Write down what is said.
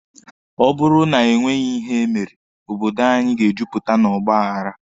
Ọ bụrụ na e nweghị ihe e mere, obodo anyi ga-ejupụta na ọgba aghara.